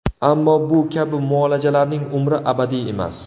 Ammo bu kabi muolajalarning umri abadiy emas.